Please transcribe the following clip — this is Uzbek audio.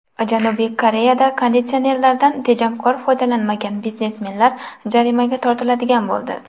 Janubiy Koreyada konditsionerlardan tejamkor foydalanmagan biznesmenlar jarimaga tortiladigan bo‘ldi.